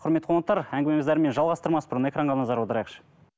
құрметті қонақтар әңгімемізді әрмен жалғастырмас бұрын экранға назар аударайықшы